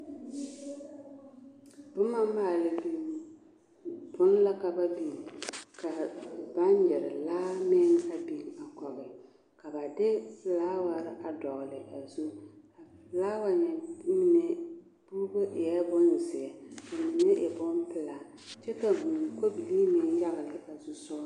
Boma maale binni la ka ba biŋ ka baŋgyere laare meŋ a biŋ a kɔge ka ba de filaaware a dɔgele a zu, a filaawa nyɛ puuro eɛ bonzeɛ ka a mine e bompelaa kyɛ vūū kobilii meŋ yagele a zu sogɔ.